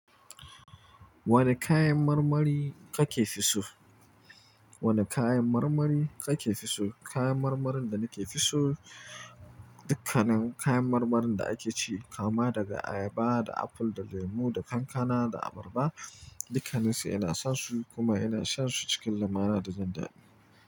Wane kayan marmari kake fi so? Wane kayan marmari kake fi so? Kayan marmarin da nake fi so, dukkannin kayan marmarin da ake ci, kama daga ayaba da apple da lemu da kankana da abarba, dukkanninsu ina san su kuma ina shan su cikin lamana da jindadi.